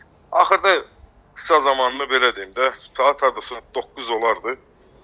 Axırda qısa zamanlarda, belə deyim də, saat hardasa doqquz olardı.